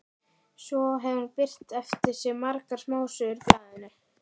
Svo hefur hann birt eftir sig margar smásögur í blaðinu.